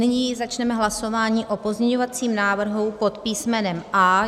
Nyní začneme hlasování o pozměňovacím návrhu pod písmenem A.